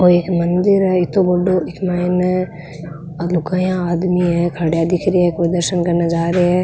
वो इक मंदिर है इत्तो बड़ो इमा माइने लुगाइयाँ आदमी है खड्या दिख रेया कोई दर्शन करने जा रे है।